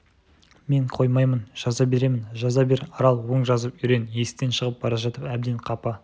мен қоймаймын жаза беремін жаза бер арал оң жазып үйрен есіктен шығып бара жатып әбден қапа